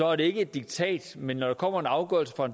er det ikke et diktat men når der kommer en afgørelse fra